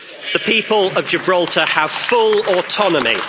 The people of Gibraltar have full autonomy.